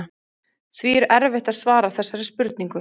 Því er erfitt að svara þessari spurningu.